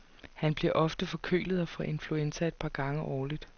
Han bliver ofte forkølet og får influenza et par gange årligt.